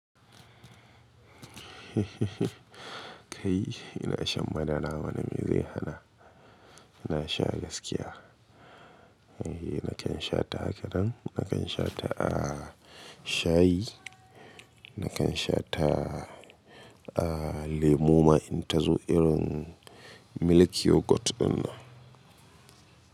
Eh, ina shan madara mana, mai zai hana? Ina sha gaskiya. Nakan sha ta haka nan, nakan sha ta a shayi, nakan sha ta a lemu ma in ta zo irin milk yogurt ɗin nan.